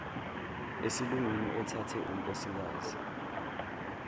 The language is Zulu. esilungwini othathe unkosikazi